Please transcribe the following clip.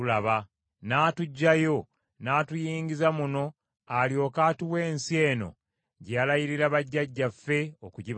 N’atuggyayo n’atuyingiza muno alyoke atuwe ensi eno gye yalayirira bajjajjaffe okugibawa.